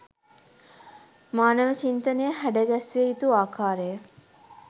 මානව චින්තනය හැඩ ගැස්විය යුතු ආකාරය